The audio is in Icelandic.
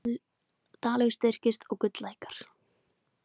Dalur styrkist og gull lækkar